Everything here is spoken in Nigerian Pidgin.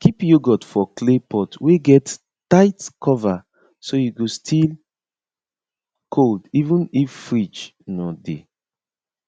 keep yoghurt for clay pot wey get tight cover so e go still cold even if fridge no dey